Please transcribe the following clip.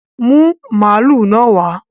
Bring the cow here!